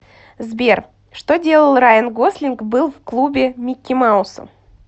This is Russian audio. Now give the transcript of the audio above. сбер что делал райан гослинг был в клубе микки мауса